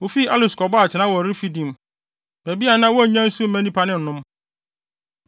Wofii Alus kɔbɔɔ atenae wɔ Refidim, baabi a na wonnya nsu mma nnipa no nnom.